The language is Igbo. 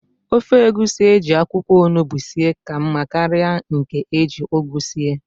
Ofe egusi eji akwụkwọ ọnụgbu sie ka mma karịa nke eji ugu sie